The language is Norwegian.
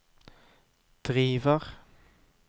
driver